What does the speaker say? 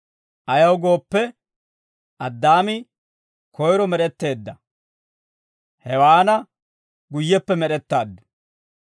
Ayaw gooppe, Addaami koyro med'etteedda; Hewaana guyyeppe med'ettaaddu.